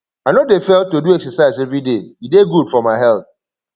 i no dey fail to do exercise everyday e dey good for my health